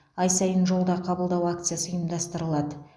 ай сайын жолда қабылдау акциясы ұйымдастыралады